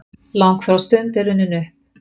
Langþráð stund er runnin upp!